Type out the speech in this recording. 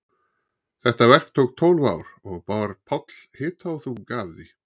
Þetta verk tók tólf ár og bar Páll hita og þunga af því.